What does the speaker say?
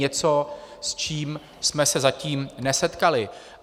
Něco, s čím jsme se zatím nesetkali.